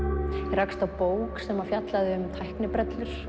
rakst á bók sem fjallaði um tæknibrellur